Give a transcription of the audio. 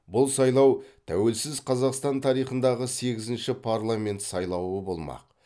бұл сайлау тәуелсіз қазақстан тарихындағы сегізінші парламент сайлауы болмақ